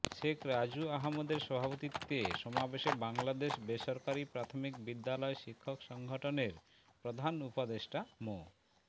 শেখ রাজু আহম্মেদের সভাপতিত্বে সমাবেশে বাংলাদেশ বেসরকারি প্রাথমিক বিদ্যালয় শিক্ষক সংগঠনের প্রধান উপদেষ্টা মো